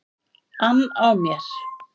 ann á mér.